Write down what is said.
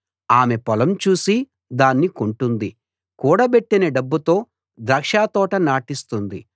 ఆమె పొలం చూసి దాన్ని కొంటుంది కూడబెట్టిన డబ్బుతో ద్రాక్షతోట నాటిస్తుంది